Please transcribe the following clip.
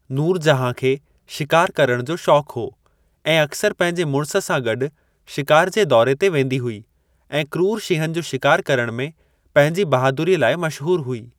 नूरजहां खे शिकार करण जो शौंक हो ऐं अक्सर पंहिंजे मुड़िस सां गॾु शिकार जे दौरे ते वेंदी हुई ऐं क्रूर शींहनि जो शिकार करण में पंहिंजी बहादुरीअ लाइ मशहूर हुई।